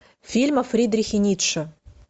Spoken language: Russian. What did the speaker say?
фильм о фридрихе ницше